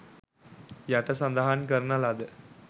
යට සඳහන් කරන ලද